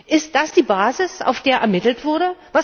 Ist das die Basis, auf der ermittelt wurde?